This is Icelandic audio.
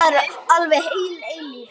Það er alveg heil eilífð.